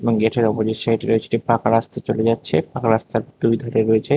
এবং গেটের অপজিট সাইটে রয়েছে একটি পাকা রাস্তা চলে যাচ্ছে পাকা রাস্তার দুই ধারে রয়েছে--